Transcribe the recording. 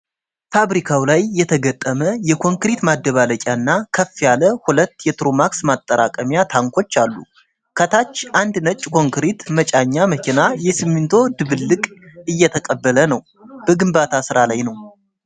ፋብሪካው ላይ የተገጠመ የኮንክሪት ማደባለቂያና ከፍ ያለ ሁለት የትሩማክስ ማጠራቀሚያ ታንኮች አሉ። ከታች አንድ ነጭ ኮንክሪት መጫኛ መኪና የሲሚንቶ ድብልቅ እየተቀበለ ነው። በግንባታ ስራ ላይ ነው።